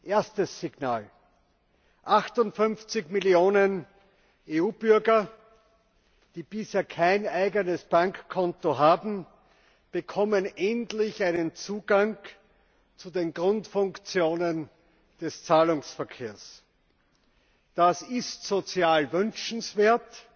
Erstes Signal 58 Millionen EU Bürger, die bisher kein eigenes Bankkonto haben, bekommen endlich einen Zugang zu den Grundfunktionen des Zahlungsverkehrs. Das ist sozial wünschenswert,